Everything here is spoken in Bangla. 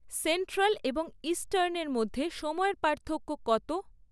সেন্ট্রাল এবং ইস্টার্নের মধ্যে সময়ের পার্থক্য কত?